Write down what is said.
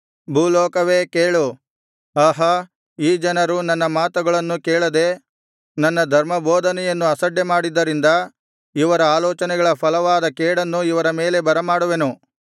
ಭೂಲೋಕವೇ ಕೇಳು ಆಹಾ ಈ ಜನರು ನನ್ನ ಮಾತುಗಳನ್ನು ಕೇಳದೆ ನನ್ನ ಧರ್ಮಬೋಧನೆಯನ್ನು ಅಸಡ್ಡೆಮಾಡಿದ್ದರಿಂದ ಇವರ ಆಲೋಚನೆಗಳ ಫಲವಾದ ಕೇಡನ್ನು ಇವರ ಮೇಲೆ ಬರಮಾಡುವೆನು